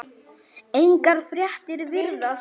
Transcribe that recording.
Engar fréttir virðast